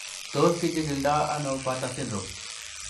Tos kichikildo ono Bartter syndrome?